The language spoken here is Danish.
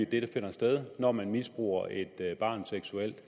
det der finder sted når man misbruger et barn seksuelt